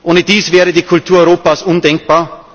Ohne die wäre die Kultur Europas undenkbar.